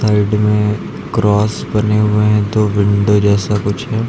Side cross बने हुए हैं दो विंडो जैसा कुछ है।